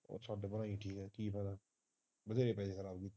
ਛੱਡ ਪਰਾ ਕੀ ਫਾਇਦਾ ਬਥੇਰੇ ਪਏ